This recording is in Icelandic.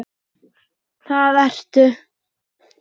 Það ertu.